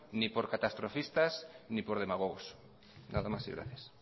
ni por catastrofistas ni por demagogos nada más y gracias